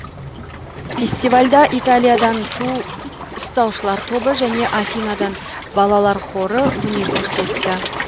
фестивальда италиядан ту ұстаушылар тобы және афиныдан балалар хоры өнер көрсетті